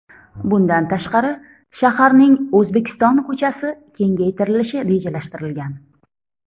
Bundan tashqari, shaharning O‘zbekiston ko‘chasi kengaytirilishi rejalashtirilgan.